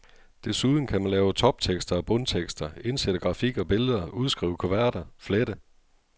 Desuden kan man lave toptekster og bundtekster, indsætte grafik og billeder, udskrive kuverter, flette.